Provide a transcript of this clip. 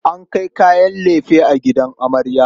An kai kayan lefe gidan amarya.